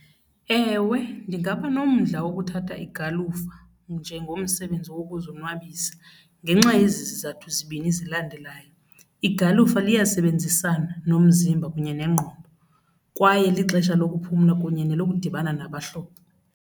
Ewe, ndingaba nomdla wokuthatha igalufa njengomsebenzi wokuzonwabisa ngenxa yezi zizathu zibini zilandelayo, igalufa liyasebenzisana nomzimba kunye nengqondo kwaye lixesha lokuphumla kunye nelokudibana nabahlobo.